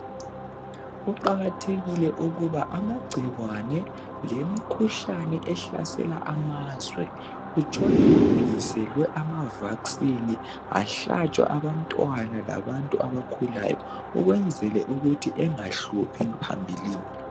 kuqakathekike ukuba amagcikwane lemikhuhlane ehlasela amazwe kutshone kulungiselwe amavakisini bahlatshwa abantwana labantu abakhulayo ukwenzela ukuthi engahluphi phambilini.